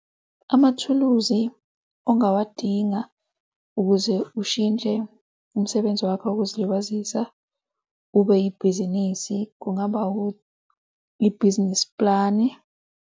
Amathuluzi ongawadinga ukuze ushintshe umsebenzi wakho wokuzilibazisa ube ibhizinisi, kungaba ibhizinisi pulani.